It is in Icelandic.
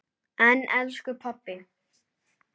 En elsku pabbi!